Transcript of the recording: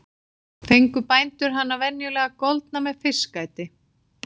Fengu bændur hana venjulega goldna með fiskæti.